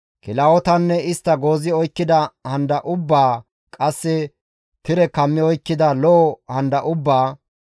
kilahotanne istta goozi oykkida handa ubbaa qasse tire kammi oykkida lo7o handa ubbaa,